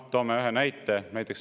Toome ühe näite.